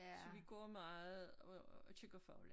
Så vi går meget og og kigger fugle